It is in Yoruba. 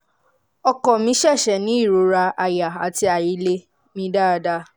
ọkọ mi ṣẹ̀ṣẹ̀ ní ìrora àyà àti àìlè mí dáadáa